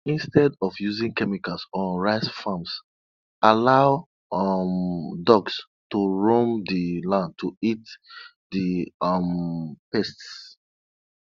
instead of using chemicals on rice farms allow um ducks to roam the land to eat the um pests